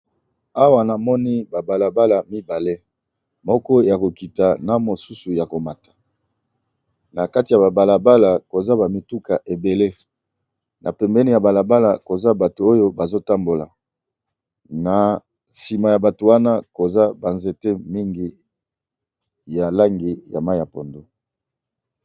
Awa namoni ba balabala mibale moko ya kokita na mosusu ya komata na kati ya ba balabala koza ba mituka ebele na pembeni ya balabala koza bato oyo bazotambola na sima ya bato wana koza ba nzete mingi ya langi ya mayi ya pondu.